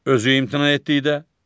Özü imtina etdikdə.